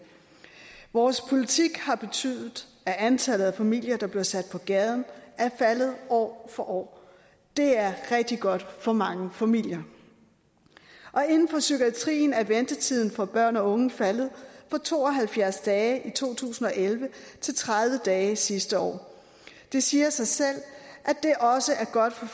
vores politik har betydet at antallet af familier der bliver sat på gaden er faldet år for år det er rigtig godt for mange familier inden for psykiatrien er ventetiden for børn og unge faldet fra to og halvfjerds dage i to tusind og elleve til tredive dage sidste år det siger sig selv at det også er godt for